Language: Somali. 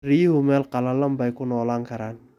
Riyuhu meel qallalan bay ku noolaan karaan.